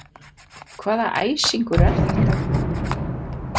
Hvaða æsingur er þetta?